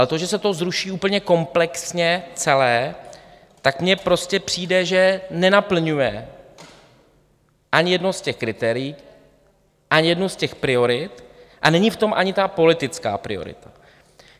Ale to, že se to zruší úplně komplexně celé, tak mně prostě přijde, že nenaplňuje ani jedno z těch kritérií, ani jednu z těch priorit, a není v tom ani ta politická priorita.